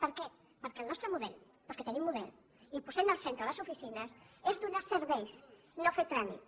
per què perquè el nostre model perquè tenim model i posem al centre les oficines és donar serveis no fer tràmits